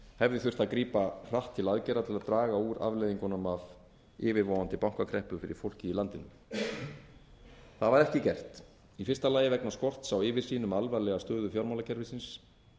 hefði þurft að grípa hratt til aðgerða til að draga úr afleiðingunum af yfirvofandi bankakreppu fyrir fólkið í landinu það var ekki gert í fyrsta lagi vegna skorts á yfirsýn um alvarlega stöðu fjármálakerfisins